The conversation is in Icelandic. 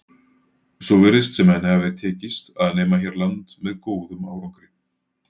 Svo virðist sem henni hafi tekist að nema hér land með góðum árangri.